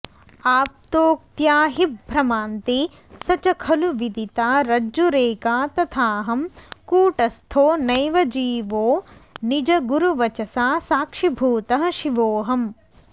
आप्तोक्त्याहिभ्रमान्ते स च खलु विदिता रज्जुरेका तथाहं कूटस्थो नैव जीवो निजगुरुवचसा साक्षिभूतः शिवोऽहम्